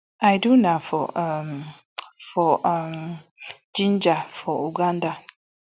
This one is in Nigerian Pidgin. i do na for um for um jinja for uganda